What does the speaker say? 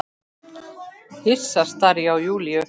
Hissa stari ég á Júlíu.